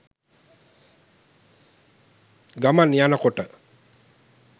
ගමන් යනකොට